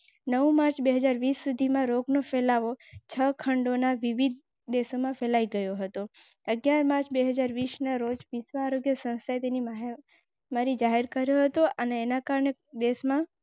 એકથી લઈને ત્રણ ટકાની વચ્ચે અંદાજવામાં આવી ફાટી નીકળવાની ઘટના એ આંતરરાષ્ટ્રીય કક્ષાની. શેર કરી